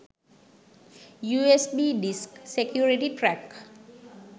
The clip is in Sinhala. usb disk security crack